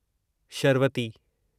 Sharavathi